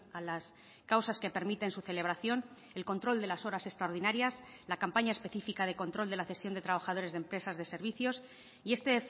a las causas que permiten su celebración el control de las horas extraordinarias la campaña específica de control de la cesión de trabajadores de empresas de servicios y este